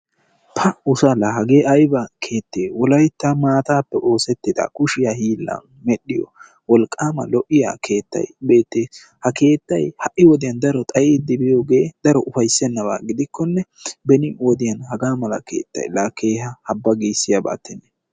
Paa! ussa laa hagge aybba keette? Wolaytta maatappe osettidda kushshe hillani medhdhiyo wolqqam lo"iyaa keettay beettes. Ha keettay ha"i woddiyan daro xayddi biyooge daro upayssenabba gidikkonne beni wodiyaan hagga malla keettay kehaa hamma giisiyabattenne.